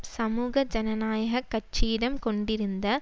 சமூக ஜனநாயக கட்சியிடம் கொண்டிருந்த